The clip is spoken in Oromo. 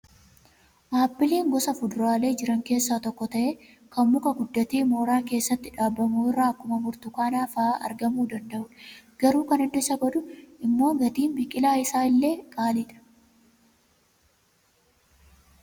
Appiliin gosa fuduraalee jiran keessaa tokko ta'ee kan muka guddatee mooraa keessatti dhaabamu irraa akkuma burtukaanaa fa'aa argamuu danda'udha. Garuu kan adda isa godhu immoo gatiin biqilaa isaa illee qaaliidha.